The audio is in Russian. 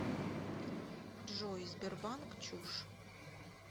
джой сбербанк чушь